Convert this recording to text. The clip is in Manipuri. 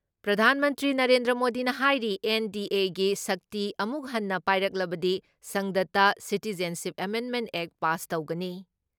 ꯄ꯭ꯔꯙꯥꯟ ꯃꯟꯇ꯭꯭ꯔꯤ ꯅꯔꯦꯟꯗ꯭ꯔ ꯃꯣꯗꯤꯅ ꯍꯥꯏꯔꯤ ꯑꯦꯟ.ꯗꯤ.ꯑꯦꯅ ꯁꯛꯇꯤ ꯑꯃꯨꯛ ꯍꯟꯅ ꯄꯥꯏꯔꯛꯂꯕꯗꯤ ꯁꯪꯁꯗꯇ ꯁꯤꯇꯤꯖꯟꯁꯤꯞ ꯑꯦꯃꯦꯟꯃꯦꯟ ꯑꯦꯛ ꯄꯥꯁ ꯇꯧꯒꯅꯤ ꯫